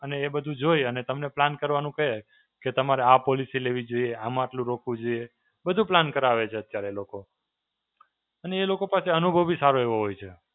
અને એ બધું જોઈ અને તમને plan કરવાનો કહે કે તમારે આ policy લેવી જોઈએ, આમાં આટલું રોકવું જોઈએ. બધું plan કરાવે છે અત્યારે લોકો. અને એ લોકો પાસે અનુભવ બી સારો એવો હોય છે.